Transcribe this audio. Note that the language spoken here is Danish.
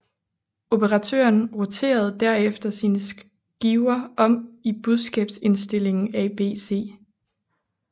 Operatøren roterede derefter sine skiver om i budskabsindstillingen ABC